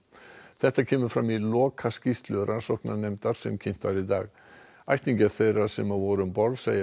þetta kemur fram í lokaskýrslu rannsóknarnefndar sem kynnt var í dag ættingjar þeirra sem voru um borð segja